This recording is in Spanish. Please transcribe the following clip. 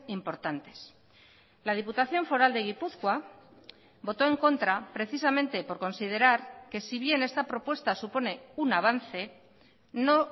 importantes la diputación foral de gipuzkoa votó en contra precisamente por considerar que si bien esta propuesta supone un avance no